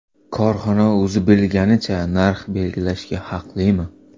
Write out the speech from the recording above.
Korxona o‘zi bilganicha narx belgilashga haqlimi?